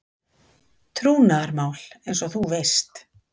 Trúnaðarmál eins og þú veist.